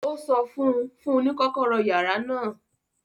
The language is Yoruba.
Ó sọ fún un; fún un ní kọ́kọ́rọ́ yàrá náà